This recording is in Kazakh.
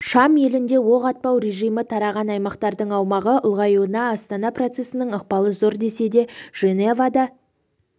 шам елінде оқ атпау режимі тараған аймақтардың аумағы ұлғаюына астана процесінің ықпалы зор десе де женевада